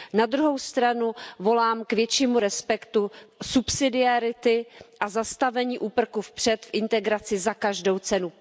Na druhou stranu volám k většímu respektu subsidiarity a zastavení úprku vpřed v integraci za každou cenu.